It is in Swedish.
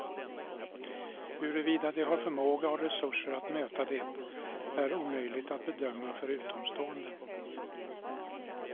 Huruvida de har förmåga och resurser att möta det är omöjligt att bedöma för utomstående.